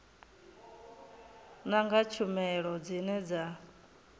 nanga kha tshumelo dzine dza